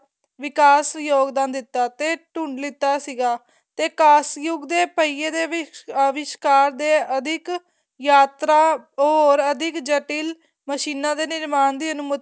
ਵਿਕਾਸ ਯੋਗਦਾਨ ਦਿੱਤਾ ਤੇ ਤੁੰਡ ਲਿੱਤਾ ਸੀਗਾ ਤੇ ਕਾਸ ਯੁੱਗ ਦੇ ਪਹੀਏ ਦੇ ਵਿਸਕਾਰ ਦੇ ਅਧਿਕ ਯਾਤਰਾ ਹੋਰ ਅਧਿਕ ਜੱਟਿਲ ਮਸ਼ੀਨਾਂ ਦੇ ਨਿਰਮਾਣ ਲਈ ਅਨ੍ਮੁਤੀ